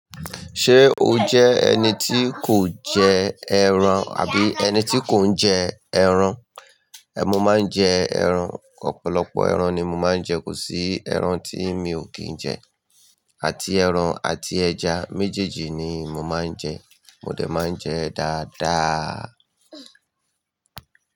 Ṣé o jẹ́ ẹni tí kò jẹ ẹran, àbí ẹni tí kò ń jẹ ẹran? Èè mó máa ń jẹ ẹran. Ọ̀pọ̀lọpọ̀ ẹran ni mo máa ń jẹ, kò sí ẹran tí mi ò kí ń jẹ. Àti ẹran àti ẹja méjèèjì ni mò máa ń jẹ, mo dé máa ń jẹ dáadáa.